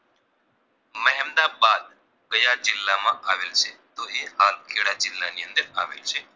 કયા જિલ્લા માં આવેલ છે તો કે હાલ ખેડા જિલ્લાની અંદર આવેલ છે